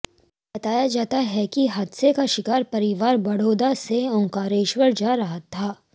बताया जाता है कि हादसे का शिकार परिवार बड़ौदा से ओंकारेश्वर जा रहा था